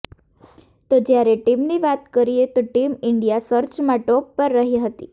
તો જ્યારે ટીમની વાત કરીએ તો ટીમ ઈન્ડિયા સર્ચમાં ટોપ પર રહી હતી